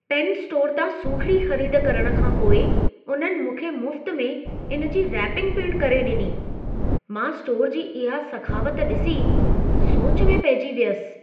Pen store तां सूखिड़ी ख़रीद करण खां पोइ उन्हनि मूंखे मुफ़्त में इन जी रैपिंग पिण करे ॾिनी। मां स्टोर जी इहा सखावत ॾिसी सोच में पइजी वियसि।